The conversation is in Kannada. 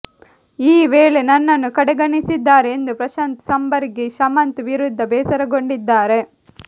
ಈ ವೇಳೆ ನನ್ನನ್ನು ಕಡೆಗಣಿಸಿದ್ದಾರೆ ಎಂದು ಪ್ರಶಾಂತ್ ಸಂಬರಗಿ ಶಮಂತ್ ವಿರುದ್ಧ ಬೇಸರಗೊಂಡಿದ್ದಾರೆ